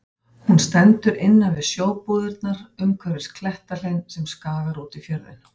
Hún stendur innan til við sjóbúðirnar umhverfis klettahlein sem skagar út í fjörðinn.